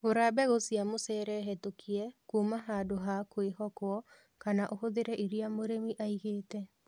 Gũra mbegũ cia mucere hetũkie kuma handũ ha kwĩhokwo kana ũhũthĩre iria mũrĩmi aigĩte